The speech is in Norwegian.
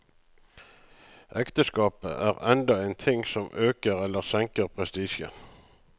Ekteskapet er enda en ting som øker eller senker prestisjen.